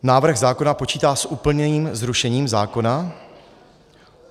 Návrh zákona počítá s úplným zrušením zákona.